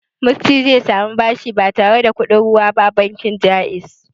Musty zai samu bashi ba tare da kuɗin ruwa ba a bankin Ja'iz.